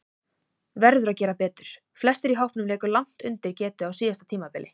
Verður að gera betur: Flestir í hópnum léku langt undir getu á síðasta tímabili.